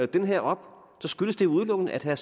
det her op skyldes det udelukkende at herre